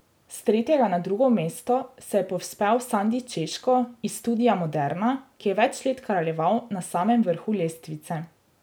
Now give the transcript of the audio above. S tretjega na drugo mesto se je povzpel Sandi Češko iz Studia Moderna, ki je več let kraljeval na samem vrhu lestvice.